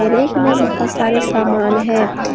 Rake में बहोत सारे सामान है।